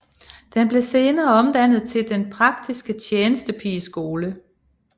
Den blev senere omdannet til Den Praktiske Tjenestepigeskole